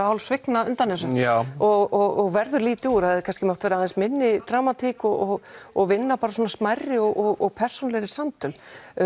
hálf svigna undan þessu og verður lítið úr það hefði kannski mátt hafa minni dramatík og og vinna smærri og persónulegri samtöl því